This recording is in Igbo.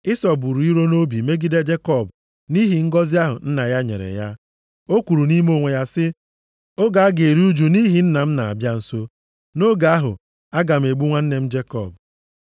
Ịsọ buru iro nʼobi megide Jekọb nʼihi ngọzị ahụ nna ya nyere ya. O kwuru nʼime onwe ya sị, “Oge a ga-eru ụjụ nʼihi nna m na-abịa nso, nʼoge ahụ aga m egbu nwanne m Jekọb.”